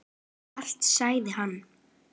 Allt sagði hann.